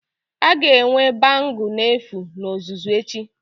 A ga-enwe bangle n'efu na ọzụzụ echi